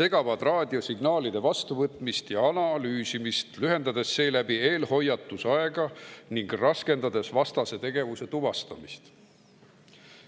segavad raadiosignaalide vastuvõtmist ja analüüsimist, lühendades seeläbi eelhoiatusaega ning raskendades vastase tegevuse tuvastamist.